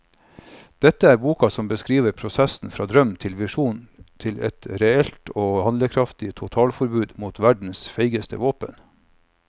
Dette er boka som beskriver prosessen fra drøm til visjoner til et reelt og handlekraftig totalforbud mot verdens feigeste våpen.